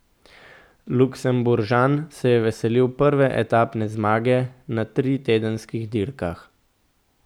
Luksemburžan se je veselil prve etapne zmage na tritedenskih dirkah.